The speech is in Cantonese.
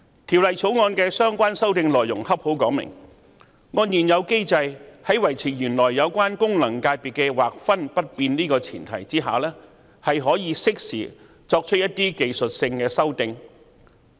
《條例草案》的相關修訂內容正好說明按照現有機制，在維持原有功能界別的劃分不變的前提下可以適時作出一些技術修訂。